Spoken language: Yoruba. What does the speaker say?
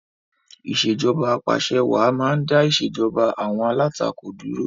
Ìṣèjoba Ap'àṣẹwàá máa ń dá ìṣèjoba àwọn alátakò dúró